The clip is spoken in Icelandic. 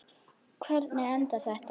Hvernig endar þetta?